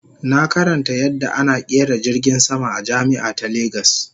Na karanta yadda ana kera jirgin sama a jami'a ta Lagos